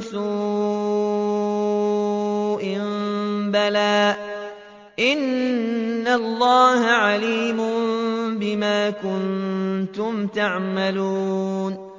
سُوءٍ ۚ بَلَىٰ إِنَّ اللَّهَ عَلِيمٌ بِمَا كُنتُمْ تَعْمَلُونَ